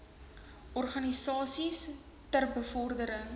organisasies ter bevordering